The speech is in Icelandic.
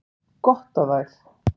Gott á þær!